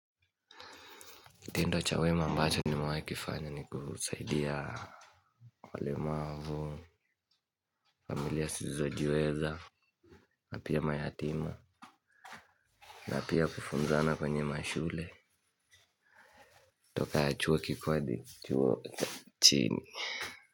Tendo cha wema ambacho nimewahi kifanya ni kusaidia walemavu, familia zisizojiweza. Na pia mayatima na pia kufunzana kwenye mashule. Toka chuo kikuu hadi chuo cha chini.